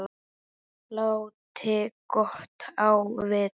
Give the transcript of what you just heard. Láti gott á vita.